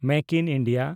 ᱢᱮᱠ in India